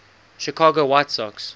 chicago white sox